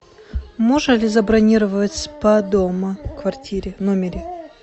можно ли забронировать спа дома в квартире в номере